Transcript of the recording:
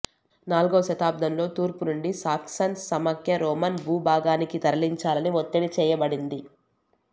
నాల్గవ శతాబ్దంలో తూర్పు నుండి సాక్సన్స్ సమాఖ్య రోమన్ భూభాగానికి తరలించాలని వత్తిడి చేయబడింది